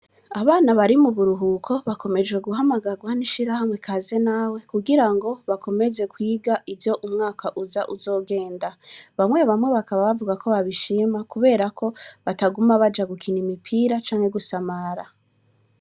Abana bari muburuhuko, bakomejwe guhamagarwa n'ishirahamwe Kaze Nawe, kugira ngo bakomeze kwiga ivyo umwaka uza uzogenda. Bamwe bamwe bakaba bavuga ko babishima kubera ko bataguma baja gukina umupira canke gusamara.